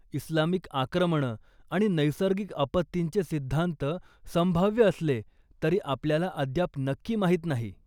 Islamic आक्रमणं आणि नैसर्गिक आपत्तींचे सिद्धांत संभाव्य असले तरी आपल्याला अद्याप नक्की माहीत नाही.